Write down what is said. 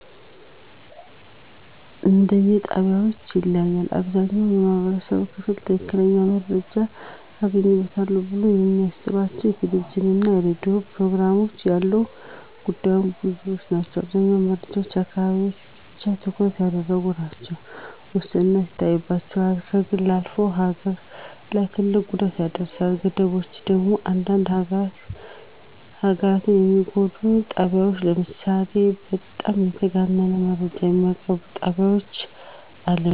እንደየጣቢያዎች ይለያያል። አብዛኛው የማህበረሰቡ ክፍል ትክክለኛ መረጃ አገኝበታለው ብሎ እሚያስበው የቴሌቪዥንና የራዲዮ ፕሮግራም አለው። ጉዳቶች ብዙ ናቸው አብዛኛው መረጃዎች አካባቢን ብቻ ትኩረት ያደረጉ ናቸው፣ ውስንነት ይታይበታል፣ ከግል አልፎ ሀገር ላይ ትልቅ ጉዳት ያስከትላል። ገደቦቹ ደግሞ አንዳንዴ ሀገርን የሚጎዱ ጣቢያወች ለምሳሌ በጣም የተጋነነ መረጃ እሚያቀርቡ ጣቢያወችን አለማየት።